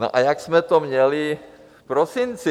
No a jak jsme to měli v prosinci?